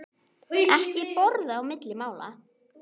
Ekki borða á milli mála.